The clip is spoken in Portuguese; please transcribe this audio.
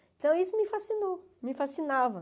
Então, isso me fascinou, me fascinava.